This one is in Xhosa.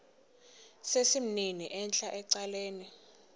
sesimnini entla ecaleni